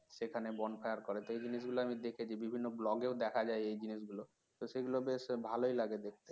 সেখানে bonfire করে সেই জিনিসগুলো আমি দেখেছি বিভিন্ন blog এও দেখা যায় এই জিনিস গুলো তো সেগুলো বেশ ভালই লাগে দেখতে